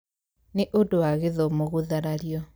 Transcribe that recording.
Nĩ ũndũ wa gĩthomo gũtharario.